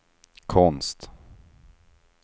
konst